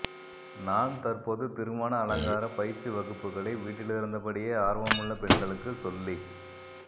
நான் தற்போது திருமண அலங்கார பயிற்சி வகுப்புகளை வீட்டிலிருந்தபடியே ஆர்வமுள்ள பெண்களுக்கு சொல்லிக்